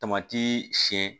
Tamati siyɛn